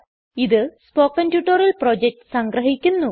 ഇത് spoken tutorial project സംഗ്രഹിക്കുന്നു